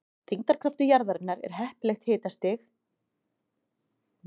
Þyngdarkraftur jarðarinnar og heppilegt hitastig eru ástæður þess að jörðin hefur lofthjúp.